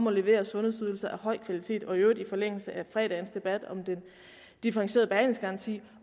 at levere sundhedsydelser af høj kvalitet og i øvrigt i forlængelse af fredagens debat om den differentierede behandlingsgaranti